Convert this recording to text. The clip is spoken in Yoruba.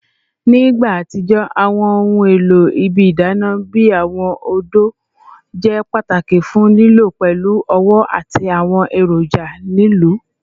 Ni igba atijọ, awọn ohun elo ibi idana bi awọn odo jẹ pataki fun lilọ pẹlu ọwọ ati awọn eroja lilu